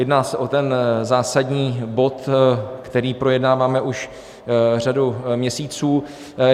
Jedná se o ten zásadní bod, který projednáváme už řadu měsíců.